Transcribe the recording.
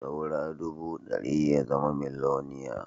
Saura ɗubu ɗari ya zama miloniya